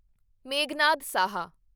Meghnad Saha